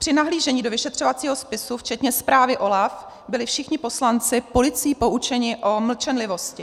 Při nahlížení do vyšetřovacího spisu včetně zprávy OLAF byli všichni poslanci policií poučeni o mlčenlivosti.